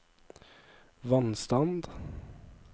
vannstand